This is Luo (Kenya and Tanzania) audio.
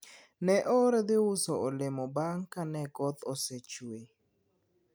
ne oor dhi uso olemo bang ka ne koth osechwe